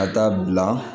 Ka taa bila